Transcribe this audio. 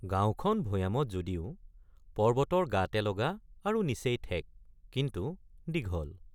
গাঁওখন ভৈয়ামত যদিও পৰ্বতৰ গাতে লগা আৰু নিচেই ঠেক কিন্তু দীঘল।